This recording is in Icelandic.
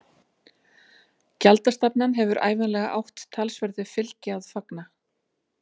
Gjaldastefnan hefur ævinlega átt talsverðu fylgi að fagna.